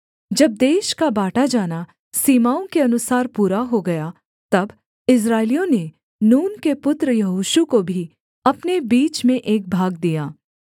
जब देश का बाँटा जाना सीमाओं के अनुसार पूरा हो गया तब इस्राएलियों ने नून के पुत्र यहोशू को भी अपने बीच में एक भाग दिया